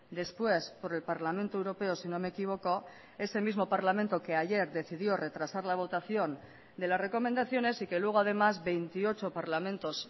después por el parlamento europeo si no me equivoco ese mismo parlamento que ayer decidió retrasar la votación de las recomendaciones y que luego además veintiocho parlamentos